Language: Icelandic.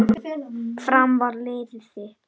Fram var liðið þitt.